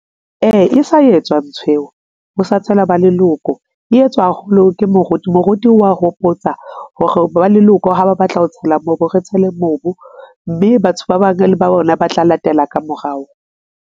Ee, e sa etswa ntho eo ho sa tshela ba leloko. E etswa haholo ke moruti, moruti wa hopotsa hore ba leloko ha ba batla ho tshela mobu, re tshele mobu, mme batho ba bang le ba bona ba tla latela ka morao.